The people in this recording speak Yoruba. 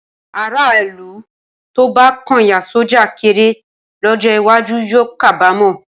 Aráàlú tó bá kóyán sọ́jà kéré lọ́jọ́ iwájú yóò kábàámọ̀.